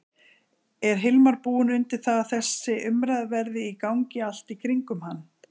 Er Hilmar búinn undir það að þessi umræða verði í gangi allt í kringum hann?